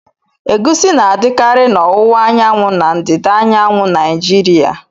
Egusi na-adịkarị na owuwa anyanwu na ndịda anyanwụ Naijiriya.